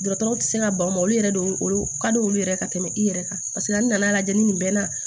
Dɔgɔtɔrɔw tɛ se ka ban o yɛrɛ de y'o olu kad'olu yɛrɛ ye ka tɛmɛ i yɛrɛ kan paseke an nana lajɛ ni bɛɛ na